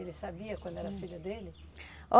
Ele sabia quando era filho dele?